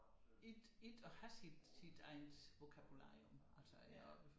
Ikke ikke at have sit sit eget vokabularium altså at